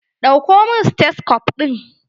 Ɗauko min stethoscope ɗin!